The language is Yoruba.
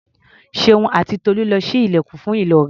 Ṣeun àti Tolú lọ ṣí ilẹ̀kùn fún Ìlọ̀rí.